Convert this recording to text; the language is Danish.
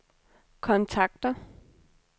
kontakter